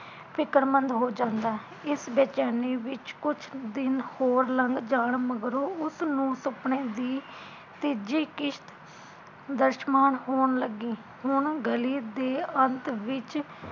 ਫ਼ਿਕਰਮੰਦ ਹੋ ਜਾਂਦਾ ਹੈ, ਇਸ ਬੇਚੈਨੀ ਵਿਚ ਕੁਝ ਦਿਨ ਹੋਰ ਲੰਘ ਜਾਣ ਮਗਰੋਂ ਉਸਨੂੰ ਸੁਪਨੇ ਦੀ ਤੀਜੀ ਕਿਸ਼ਤ ਦਰਸਮਾਨ ਹੋਣ ਲੱਗੀ, ਹੁਣ ਗਲੀ ਦੇ ਅੰਤ ਵਿੱਚ